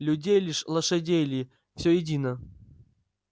людей ли лошадей ли все едино